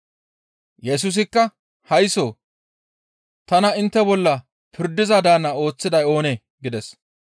Yesusikka, «Haysso! Tana intte bolla pirdiza daanna ooththiday oonee?» gides.